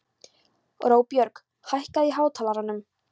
Róbjörg, hækkaðu í hátalaranum.